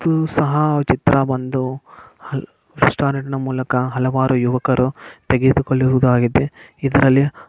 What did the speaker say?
ಇದು ಸಹ ಚಿತ್ರವೊಂದು ರೆಸ್ಟೋರೆಂಟ್ ನ ಮೂಲಕ ಹಲವಾರು ಯುವಕರು ತೆಗೆದುಕೊಳ್ಳುಹುದಾಗಿದೆ ಇದ್ರಲ್ಲಿ--